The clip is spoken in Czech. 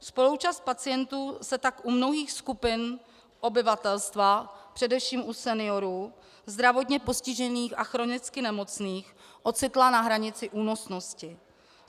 Spoluúčast pacientů se tak u mnohých skupin obyvatelstva, především u seniorů, zdravotně postižených a chronicky nemocných ocitla na hranici únosnosti.